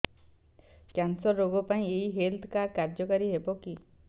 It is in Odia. କ୍ୟାନ୍ସର ରୋଗ ପାଇଁ ଏଇ ହେଲ୍ଥ କାର୍ଡ କାର୍ଯ୍ୟକାରି ହେବ କି